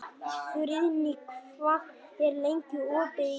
Friðný, hvað er lengi opið í Íslandsbanka?